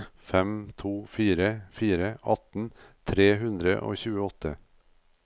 fem to fire fire atten tre hundre og tjueåtte